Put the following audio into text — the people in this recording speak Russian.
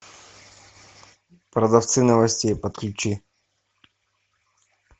продавцы новостей подключи